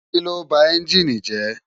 Kiló bá ènjini jè?